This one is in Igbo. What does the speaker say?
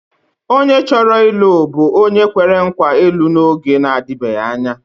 Onye chọrọ ịlụ bụ onye kwere nkwa ịlụ n’oge na-adịbeghị anya.